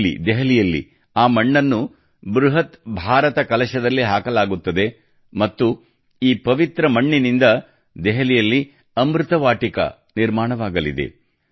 ಇಲ್ಲಿ ದೆಹಲಿಯಲ್ಲಿ ಆ ಮಣ್ಣನ್ನು ಬೃಹತ್ ಭಾರತ ಕಲಶದಲ್ಲಿ ಹಾಕಲಾಗುತ್ತದೆ ಮತ್ತು ಈ ಪವಿತ್ರ ಮಣ್ಣಿನಿಂದ ದೆಹಲಿಯಲ್ಲಿ ಅಮೃತ ವಾಟಿಕ ನಿರ್ಮಾಣವಾಗಲಿದೆ